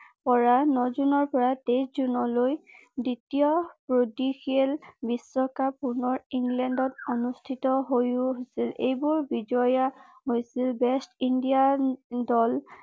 পৰা ন জুনৰ পৰা তেইশ জুনলৈ দ্বিতীয় বিশ্বকাপ পুনৰ ইংলেণ্ডত অনুষ্ঠিত হৈছিল এইবোৰ বিজয়া হৈছিল ৱেষ্ট ইণ্ডিয়াৰ